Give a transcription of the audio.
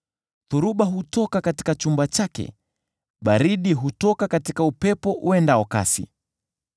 Dhoruba hutoka katika chumba chake, baridi hutoka katika upepo uendao kasi.